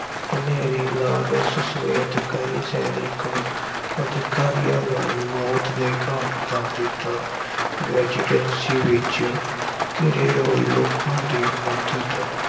ਹਨੇਰੀ ਲਾਰੈਂਸ ਸਮੇਤ ਕਈ ਸੈਨਿਕ ਅਧਿਕਾਰੀਆਂ ਨੂੰ ਮੌਤ ਦੇ ਘਾਟ ਉਤਾਰ ਦਿੱਤਾ। residency ਵਿੱਚ ਘਿਰੇ ਹੋਏ ਲੋਕਾਂ ਦੀ ਮਦਦ